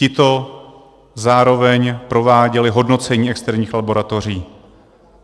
Tito zároveň prováděli hodnocení externích laboratoří.